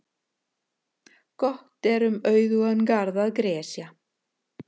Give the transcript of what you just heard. Gott er um auðugan garð að gresja.